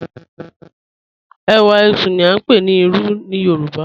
Ẹwà ẹṣú ni a ń pè ní Ìrù ní Yorùbá.